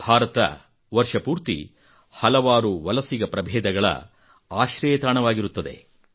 ಭಾರತ ವರ್ಷಪೂರ್ತಿ ಹಲವಾರು ವಲಸಿಗ ಪ್ರಭೇದಗಳ ಆಶ್ರಯತಾಣವಾಗಿರುತ್ತದೆ